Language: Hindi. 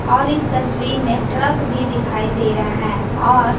और इस तस्वीर में ट्रक भी दिखाई दे रहा है और--